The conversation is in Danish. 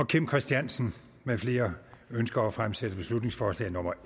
kim christiansen med flere ønsker at fremsætte beslutningsforslag nummer